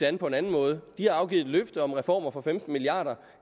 an på en anden måde de har afgivet et løfte om reformer for femten milliard